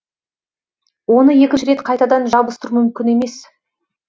оны екінші рет қайтадан жабыстыру мүмкін емес